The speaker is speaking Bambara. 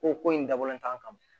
Ko ko in dabɔlen t'an ma